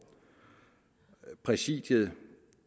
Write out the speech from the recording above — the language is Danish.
at præsidiet